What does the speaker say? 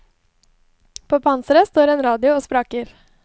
På panseret står en radio og spraker.